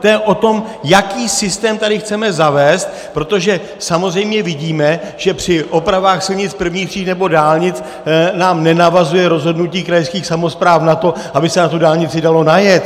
To je o tom, jaký systém tady chceme zavést, protože samozřejmě vidíme, že při opravách silnic prvních tříd nebo dálnic nám nenavazuje rozhodnutí krajských samospráv na to, aby se na tu dálnici dalo najet.